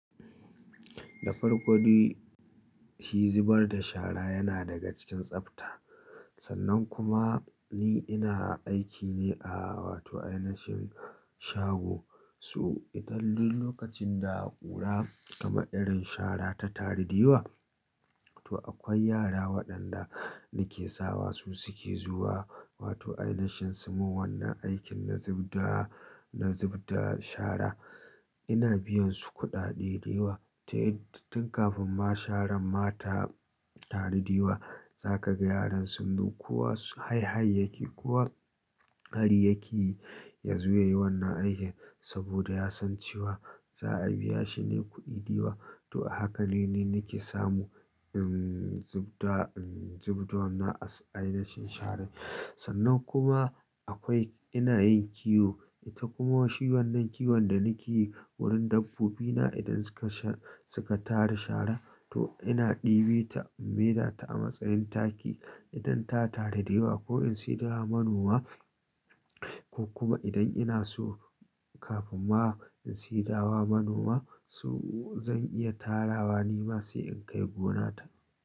Da farko de, shi zubar da shara yana daga cikin tsafta. Sannan kuma ni ina aiki ne a wato ainashin shago. So idan duk lokacin da aka ƙura, kama irin shara ta taru dewa, to akwai yara waɗanda nake sawa su suke zuwa, wato ainashin su mu wannan aikin na zub da, na zub da shara. Ina biyan su kuɗaɗe da yawa. Tun kafin ma sharan ma ta taru da yawa, za ka gan yaran sun zo, ko hayhayyaki, kowa hariyaki ya zo yayi wannan aikin saboda ya san cewa za a biya shi ne kuɗi da yawa. To haka ne ni nake samu, in zub da, in zub da wannan ainashin sharan. Sannan kuma akwai ina yin kiwo, ita kuma shi wannan kiwon da nake yi wurin dabbobina idan suka sha, suka tara shara, to ina ɗibi ta, in meda ta a matsayin taki idan ta taru da yawa ko in siye da wa manoma. Ko kuma idan ina so kafin ma in seda wa manoma, so zan iya tarawa ni ma sai in kai gonata.